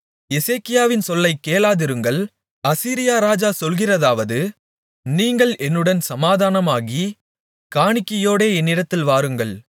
எசேக்கியாவின் சொல்லைக் கேளாதிருங்கள் அசீரியா ராஜா சொல்கிறதாவது நீங்கள் என்னுடன் சமாதானமாகி காணிக்கையோடே என்னிடத்தில் வாருங்கள்